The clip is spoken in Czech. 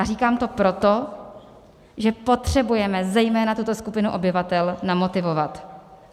A říkám to proto, že potřebujeme zejména tuto skupinu obyvatel namotivovat.